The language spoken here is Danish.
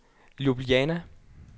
Ljubljana